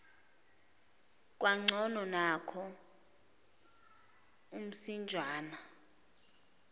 kwangcono nanko umsinjwana